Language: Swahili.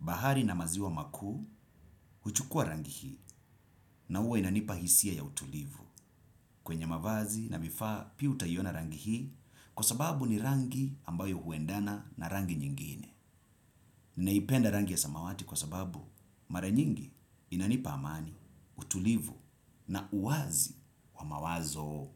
Bahari na maziwa makuu huchukua rangi hii na huwa inanipa hisia ya utulivu kwenye mavazi na vifaa pia utaiona rangi hii kwa sababu ni rangi ambayo huendana na rangi nyingine. Ninaipenda rangi ya samawati kwa sababu mara nyingi inanipa amani utulivu na uwazi wa mawazo.